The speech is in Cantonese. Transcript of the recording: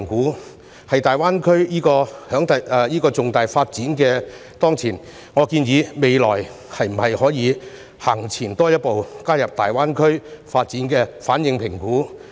面對大灣區這個重大發展機遇，我建議在未來可以多走前一步，加入對大灣區發展的反應評估。